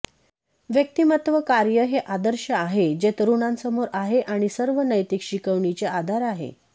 व्यक्तिमत्त्व कार्य हे आदर्श आहे जे तरुणांसमोर आहे आणि सर्व नैतिक शिकवणींचे आधार आहे